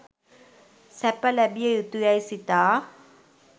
සැප ලැබිය යුතු යැයි සිතා